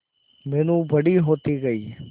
मीनू बड़ी होती गई